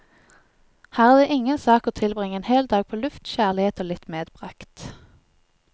Her er det ingen sak å tilbringe en hel dag på luft, kjærlighet og litt medbragt.